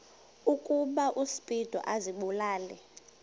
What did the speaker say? ukuba uspido azibulale